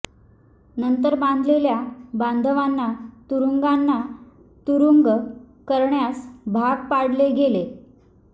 नंतर बांधलेल्या बांधवांना तुरुंगांना तुरुंग करण्यास भाग पाडले गेले